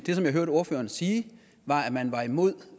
som jeg hørte ordføreren sige var at man er imod